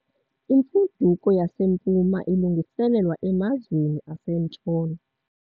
Imfuduko yaseMpuma ilungiselelwa emazweni aseNtshona.